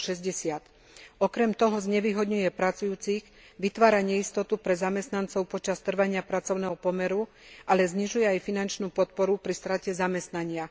560. Okrem toho znevýhodňuje pracujúcich, vytvára neistotu pre zamestnancov počas trvania pracovného pomeru, ale znižuje aj finančnú podporu pri strate zamestnania.